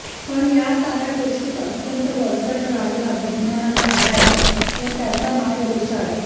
पण या साऱया गोष्टीत अत्यंत वरचढ राहिला विज्ञानाचा ध्यास व त्याचा मायदेशात